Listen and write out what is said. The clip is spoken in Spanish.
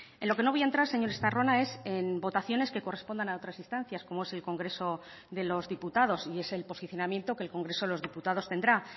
en lo que no voy a entrar señor estarrona es en votaciones que correspondan a otras instancias como es el congreso de los diputados y es el posicionamiento que el congreso de los diputados tendrá